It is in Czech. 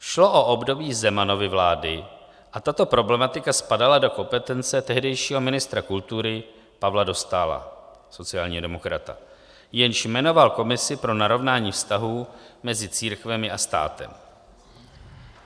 Šlo o období Zemanovy vlády a tato problematika spadala do kompetence tehdejšího ministra kultury Pavla Dostála, sociálního demokrata, jenž jmenoval komisi pro narovnání vztahů mezi církvemi a státem.